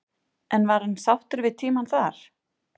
En var hann sáttur við tímann þar?